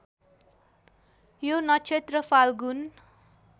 यो नक्षत्र फाल्गुन